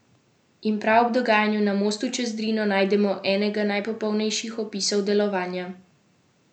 In prav ob dogajanju na mostu čez Drino najdemo enega najpopolnejših opisov delovanja mehanizma množic.